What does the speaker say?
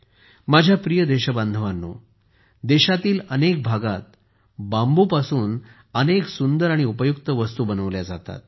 माझ्या प्रिय देशबांधवांनो देशातील अनेक भागात बांबूपासून अनेक सुंदर आणि उपयुक्त वस्तू बनवल्या जातात